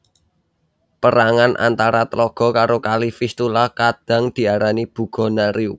Pérangan antara tlaga karo Kali Vistula kadhang diarani Bugo Narew